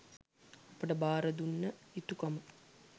අපට භාර දුන්න යුතුකම